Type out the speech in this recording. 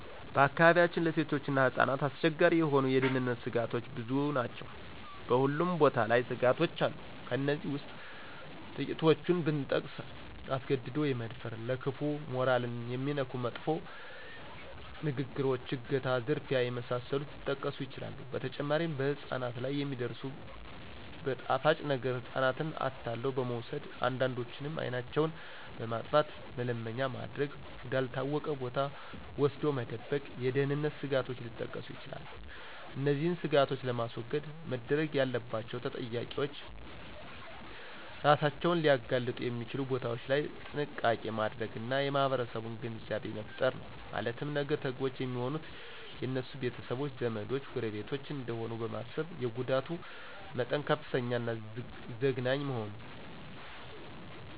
በአካባቢያችን ለሴቶችና ህጻናት አስቸጋሪ የሆኑ የደህንነተ ስጋቶች ብዙ ናቸው በሁሉም ቦታ ላይ ስጋቶች አሉ ከእነዚህ ውስጥ ትቂቶቹን ብጠቅስ አስገድዶ የመድፈር :ለከፋ :ሞራልን የሚነኩ መጥፎ ንግግሮች :አገታ :ዝርፊያ የመሳሰሉት ሊጠቀሱ ይችላሉ በተጨማሪም በህጻናት ላይ የሚደርሱት በጣፋጭ ነገረ ህጻናትን አታሎ በመውሰድ አንዳንዶችንም አይናቸውን በማጥፋተ መለመኛ ማድረግ ወደ አልታወቀ ቦታ ወስዶ መደበቅ የደህንነት ስጋቶች ሊጠቀሱ ይችላሉ። እነዚህን ስጋቶች ለማስወገድ መደረግ ያለባቸውተጠቂዎች እራሳቸውን ሊያጋልጡ የሚችሉ ቦታዎች ላይ ጥንቃቄ ማድረግና የማህረሰቡን ግንዛቤ መፍጠር ነው ማለትም ነገ ተጎጅ የሚሆኑት የነሱ ቤተሰቦች :ዘመዶች :ጎረቤቶች እደሆኑ በማሰብ የጉዳቱ መጠን ከፍተኛና ዘግናኝ መሆኑ